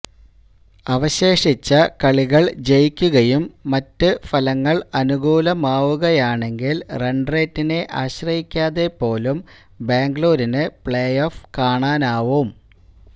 അവശേഷിച്ച കളികൾ ജയിക്കുകയും മറ്റ് ഫലങ്ങൾ അനുകൂലമാവുകയുമാണെങ്കിൽ റൺറെയ്റ്റിനെ ആശ്രയിക്കാതെ പോലും ബാംഗ്ലൂരിന് പ്ലേഓഫ് കാണാനാവും